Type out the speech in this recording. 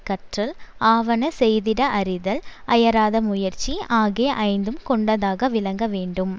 கற்றல் ஆவன செய்திட அறிதல் அயராத முயற்சி ஆகிய ஐந்தும் கொண்டதாக விளங்க வேண்டும்